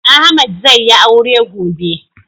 Ahmad zai yi aure gobe